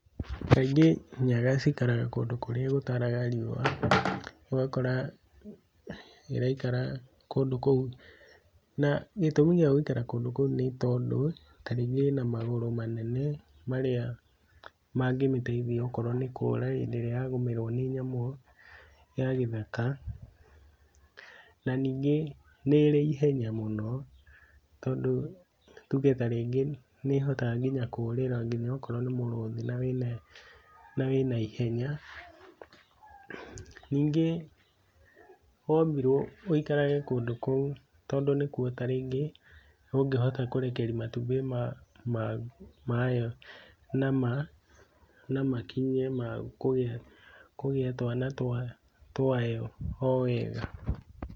Kaingĩ nyaga cikaraga kũndũ kũrĩa gũtaraga riũa, ũgakora ĩraikara kũndũ kũu. Na gĩtumi gĩa gũikara kũndũ kũu nĩ tondũ ta rĩngĩ ĩna magũrũ manene marĩa mangĩmĩteithia ũkorwo nĩ kũra hĩndĩ ĩrĩa yagũmĩrwo nĩ nyamũ ya gĩthaka. Na ningĩ nĩrĩ ihenya mũno, tondũ tuge ta rĩngĩ nĩĩhotaga nginya kũrĩra nginya akorwo nĩ mũrũthi na wĩ na ihenya. Ningĩ wũmbirwo wũikarage kũndũ kũu, tondũ nĩkuo ta rĩngĩ ũngĩhota kũrekeria matumbĩ mayo na makinye ma kũgĩa kũgĩa twana twayo o wega.